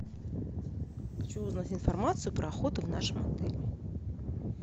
хочу узнать информацию про охоту в нашем отеле